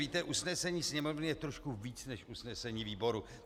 Víte, usnesení Sněmovny je trošku víc než usnesení výboru.